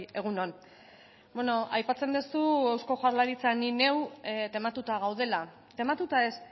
egun on aipatzen duzu eusko jaurlaritza ni neu tematuta gaudela tematuta ez